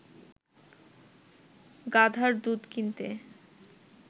গাধার দুধ কিনতে